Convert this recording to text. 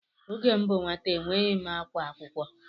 Oge m bụ nwata enweghị akwa akwụkwọ.